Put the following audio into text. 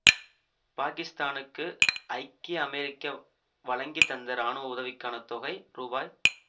பாக்கித்தானுக்கு ஐக்கிய அமெரிக்க வழங்கி வந்த இராணுவ உதவிக்கான தொகை ரூ